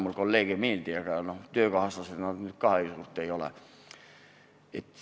Sõna "kolleeg" mulle küll ei meeldi, aga töökaaslased nad nüüd ka ei ole.